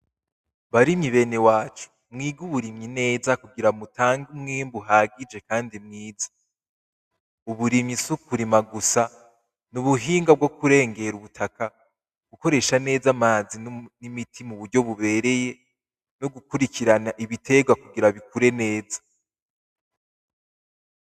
Barimyi bene wacu mwige uburimyi neza kugira mutange umwimbu uhagije kandi mwiza, uburimyi si ukurima gusa n’ubuhinga bwo kurengera ubutaka ukoresha neza amazi n’imiti muryo bubereye no gukurikirana ibiterwa kugira bikure neza.